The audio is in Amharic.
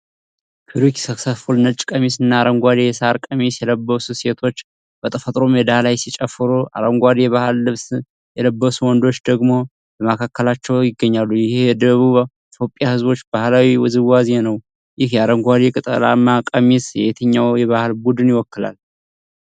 Query successful ነጭ ቀሚስና አረንጓዴ የሳር ቀሚስ የለበሱ ሴቶች በተፈጥሮ ሜዳ ላይ ሲጨፍሩ። አረንጓዴ የባህል ልብስ የለበሱ ወንዶች ደግሞ በመካከላቸው ይገኛሉ። ይህ የደቡብ ኢትዮጵያ ህዝቦች ባህላዊ ውዝዋዜ ነው። ይህ የአረንጓዴ ቅጠላማ ቀሚስ የትኛውን የባህል ቡድን ይወክላል?